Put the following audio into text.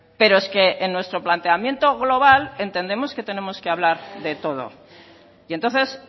pero es que en nuestro planteamiento global entendemos que tenemos que hablar de todo y entonces